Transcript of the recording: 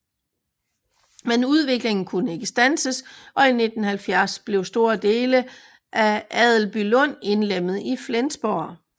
Men udviklingen kunne ikke standses og i 1970 blev store dele af Adelbylund indlemmet i Flensborg